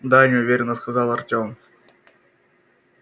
да неуверенно сказал артём